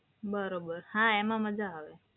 બરોબર, હા એમાં મજા આવે.